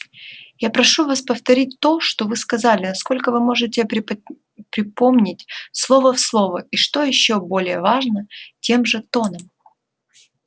я прошу вас повторить то что вы сказали насколько вы можете припомнить слово в слово и что ещё более важно тем же тоном